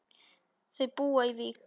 Þau búa í Vík.